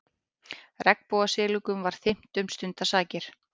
Regnbogasilungnum var þyrmt um stundarsakir.